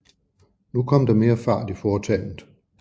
Nu kom der mere fart i foretagenet